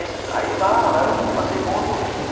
Esses aí lá, lá eu passei bons momentos.